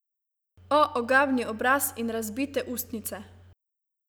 O, ogabni obraz in razbite ustnice!